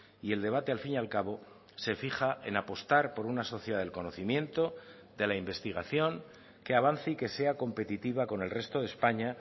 y el debate al fin y al cabo se fija en apostar por una sociedad del conocimiento de la investigación que avance y que sea competitiva con el resto de españa